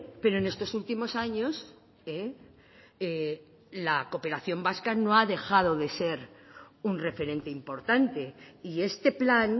pero en estos últimos años la cooperación vasca no ha dejado de ser un referente importante y este plan